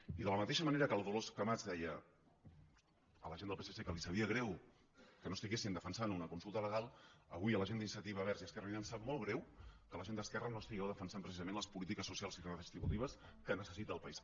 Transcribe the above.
i de la mateixa manera que la dolors camats deia a la gent del psc que li sabia greu que no estiguessin defensant una consulta legal avui a la gent d’iniciativa verds i esquerra unida ens sap molt greu que la gent d’esquerra no estigueu defensant precisament les polítiques socials i redistributives que necessita el país